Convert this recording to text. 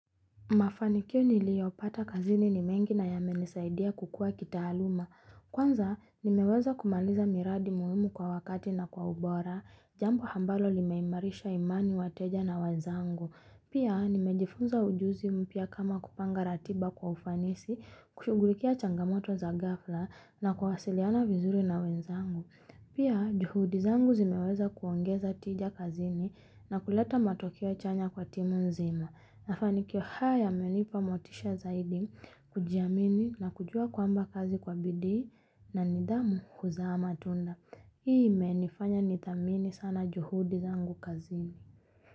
Mafanikyo nilio pata kazini ni mengi na yame nisaidia kukua kitaaluma. Kwanza nimeweza kumaliza miradi muhimu kwa wakati na kwa ubora, jambo ambalo limeimarisha imani wateja na wenzangu. Pia nimejifunza ujuzi mpya kama kupanga ratiba kwa ufanisi, kushugulikia changamoto za gafla na kuwasiliana vizuri na wenzangu. Pia juhudi zangu zimeweza kuongeza tija kazini na kuleta matokeo chanya kwa timu nzima. Mafani kio haya menipa motisha zaidi, kujiamini na kujua kwamba kazi kwa bidii na nidhamu huza amatunda. Hii imenifanya nithamini sana juhudi zangu kazini.